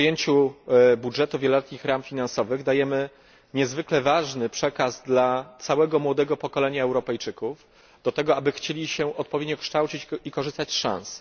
Po przyjęciu budżetu wieloletnich ram finansowych dajemy niezwykle ważny przekaz dla całego młodego pokolenia Europejczyków do tego, aby chcieli się odpowiednio kształcić i korzystać z szans.